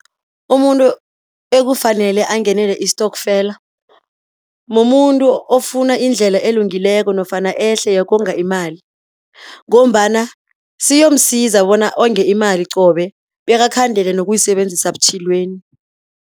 Umuntu ekufanele angenele istokfela, mumuntu ofuna indlela elungileko nofana ehle yokonga imali, ngombana siyomsiza bona onge imali qobe, bekakhandele nokuyisebenzisa butjhilweni